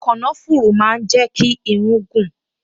Kànáfùrù máa ń jẹ́ kí irún gùn